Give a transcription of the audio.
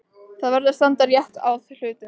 Það verður að standa rétt að hlutunum.